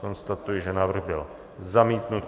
Konstatuji, že návrh byl zamítnut.